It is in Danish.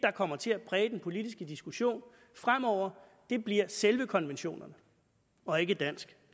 kommer til at præge den politiske diskussion fremover bliver selve konventionerne og ikke dansk